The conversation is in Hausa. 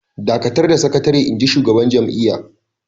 "Dakatar da sakatare!" Inji shugaban jam’iyyar